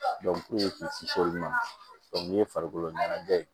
k'u kisi o ma nin ye farikolo ɲɛnajɛ ye